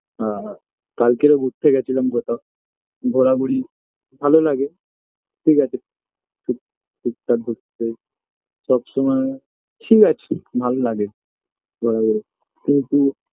আর কালকেরও ঘুরতে গেছিলাম কোথাও ঘোরাঘুরি ভালো লাগে ঠিকাছে টুক টুকটাক ঘুরতে সবসময় ঠিকাছে ভালো লাগে ঘোরাঘুরি কিন্তু